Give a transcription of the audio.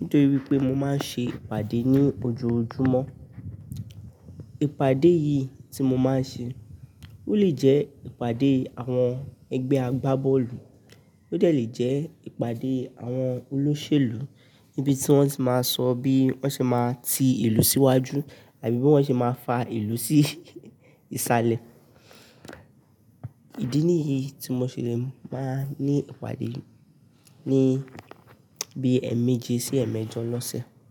nítorí pé mo máa ń ṣe ìpàdé ní ojoojúmọ́. Ìpàdé yìí tí mo máa ń ṣe, ó lè jẹ́ ìpàdé àwọn ẹgbẹ́ agbábọ́ọ̀lù, ó dẹ̀ lé jẹ́ ìpàdé àwọn olóṣèlú níbi tí wọ́n ti máa ń sọ bí wọ́n ti máa ń ti ìlú síwájú àbí bí wọ́n ti máa ń fa ìlú sí ìsàlẹ̀. Ìdí nìyí tí mo ṣe lè máa ń ní ìpàdé ní bí ẹ̀ẹ̀meje sí ẹ̀ẹ̀mẹjọ lọ́sẹ̀.